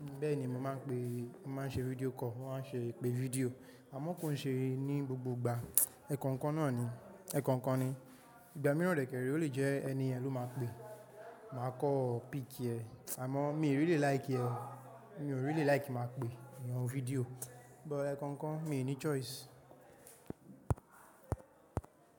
Bẹ́ẹ̀ni, mo máa ń pe, máa ń ṣe video call, wọ́n á ṣe ìpè fídíò àmọ́ kò ń ṣe ní gbogbo ìgbà, ẹ̀ẹ̀kan kan náà ni, ẹ̀ẹ̀kan kan ni. Ìgbà mìíràn rẹ̀ kẹ̀rí, ó lè jẹ́ ẹni ẹ̀ ló máa ń pe, màá kọ̀ ọ́ pick ẹ, àmọ́ mi ò rí lè like ẹ, mi ò rí lè like máa pe ìyan fídíò bọ̀ ẹ̀ẹ̀kan kan mi ò ní choice.